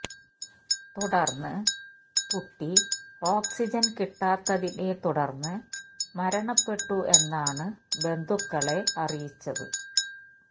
തുടർന്ന് കുട്ടി ഓക്സിജൻ കിട്ടാത്തതിനെ തുടർന്ന് മരണപെട്ടു എന്നാണ് ബന്ധുക്കളെ അറിയിച്ചത്